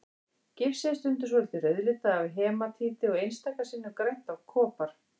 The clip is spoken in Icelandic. Gifsið er stundum svolítið rauðlitað af hematíti og einstaka sinnum grænt af kopar.